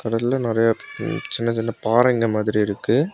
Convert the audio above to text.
கடல்ல நெறைய சின்ன சின்ன பாறைங்க மாதிரி இருக்கு.